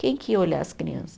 Quem que ia olhar as crianças?